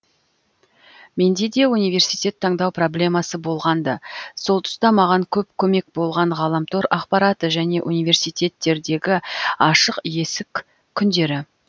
менде де университет таңдау проблемасы болған ды сол тұста маған көп көмек болған ғаламтор ақпараты және университеттердегі ашық есік күндері